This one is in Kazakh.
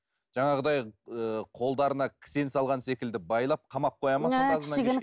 жаңағыдай ы қолдарына кісен салған секілді байлап қамап қояды ма сонда